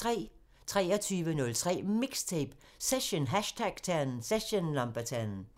23:03: MIXTAPE – Session #10